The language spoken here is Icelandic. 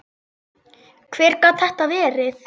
Hver gat þetta verið?